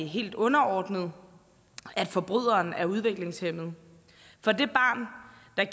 helt underordnet at forbryderen er udviklingshæmmet for det barn